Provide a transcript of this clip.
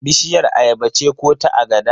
Bishiyar ayaba ce ko ta agada?